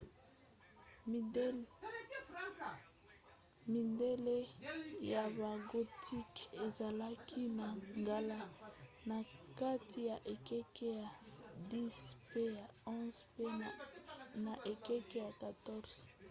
midele ya bagothique ezalaki na ngala na kati ya ekeke ya 10 mpe ya 11 mpe na ekeke ya 14